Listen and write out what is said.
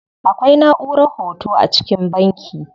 Akwai naʼurar hoto a cikin banki.